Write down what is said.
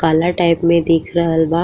काला टाइप में दिख रहल बा।